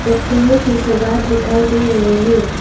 के सवाद दिखाई दे रहे हैं।